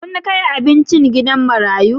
Kun kai abinci gidan marayu?